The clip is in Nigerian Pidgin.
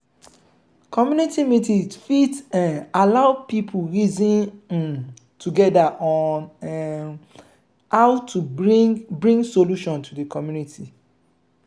community meeting fit um allow pipo reason um together on um how to bring bring solution to community problem